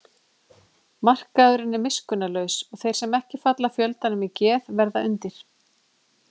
Markaðurinn er miskunnarlaus og þeir sem ekki falla fjöldanum í geð verða undir.